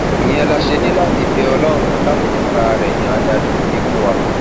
ìyẹn la ṣe ní láti bẹ ọlọrun láti fúnra rẹ yan adarí gidi fún wa